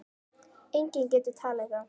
Enginn getur talið þá.